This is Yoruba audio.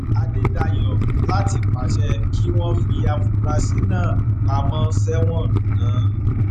adédáyò láti pàṣẹ kí wọn fi àfúrásì náà pamọ sẹwọn ná